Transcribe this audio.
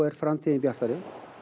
er framtíðin bjartari